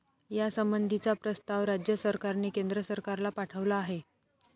यासंबंधीचा प्रस्ताव राज्य सरकारने केंद्र सरकारला पाठवला आहे.